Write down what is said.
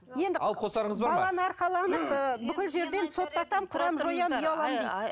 енді алып қосарыңыз бар ма баланы арқаланып ыыы бүкіл жерден соттатам қырамын жоямын ұяламын дейді